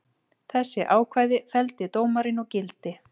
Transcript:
Þessi ákvæði felldi dómarinn úr gildi